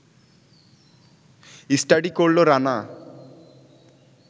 study করল রানা